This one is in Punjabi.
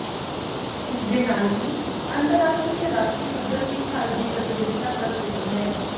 ਇਸ ਦੇ ਨਾਲ ਹੀ ਅੰਤਰਰਾਸ਼ਟਰੀ ਤੇ ਰਾਸ਼ਟਰੀ ਪੱਧਰ ਤੇ ਭਾਰਤ ਦੀ ਪ੍ਰਤੀਨਿਧਤਾ ਕਰ ਚੁੱਕੀ ਹੈ